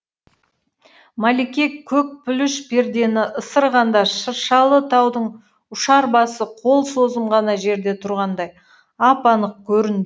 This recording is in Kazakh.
мәлике көк пүліш пердені ысырғанда шыршалы таудың ұшар басы қол созым ғана жерде тұрғандай ап анық көрінді